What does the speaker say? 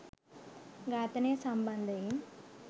ඝාතනය සම්බන්ධයෙන්